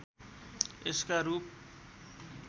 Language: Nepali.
यसका रूप